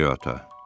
Goriota.